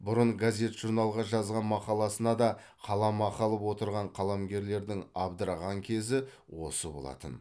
бұрын газет журналға жазған мақаласына да қаламақы алып отырған қаламгерлердің абдыраған кезі осы болатын